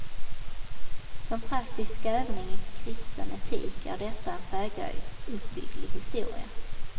Som praktisk övning i kristen etik är detta en föga uppbygglig historia.